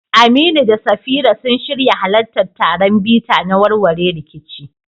Aminu da Safira sun shirya halartar taron bita na warware rikici